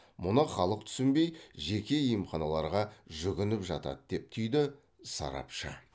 мұны халық түсінбей жеке емханаларға жүгініп жатады деп түйді сарапшы